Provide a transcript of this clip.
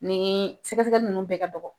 Nin sɛgɛsɛgɛli nunnu bɛɛ ka dɔgɔ.